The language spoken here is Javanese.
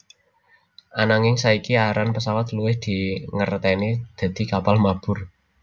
Ananging saiki aran pesawat luwih dingerteni dadi kapal mabur